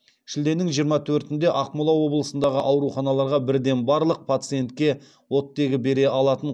шілденің жиырма төртінде ақмола облысындағы ауруханаларға бірден барлық пациентке оттегі бере алатын